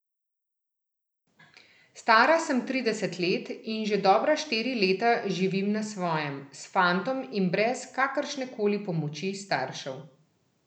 Stara sem trideset let in že dobra štiri leta živim na svojem, s fantom in brez kakršnekoli pomoči staršev.